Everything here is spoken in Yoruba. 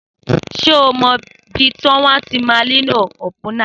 Só mọ bi wọn tímà ńlo òpúnà?